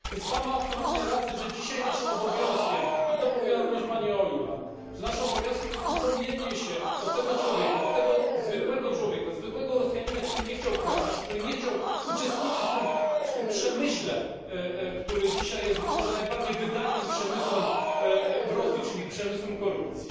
Ma Pan więc absolutnie rację, że dzisiaj naszym obowiązkiem i to mówiła również posłanka Ojuland jest upomnienie się o tego człowieka, o tego zwykłego człowieka, zwykłego Rosjanina, który nie chciał kraść, który nie chciał uczestniczyć w tym przemyśle, który dzisiaj jest być może najbardziej wydajnym przemysłem w Rosji, czyli przemysłem korupcji.